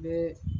N bɛ